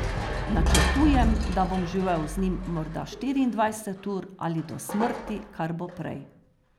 Načrtujem, da bom živel z njim morda štiriindvajset ur ali do smrti, kar bo prej.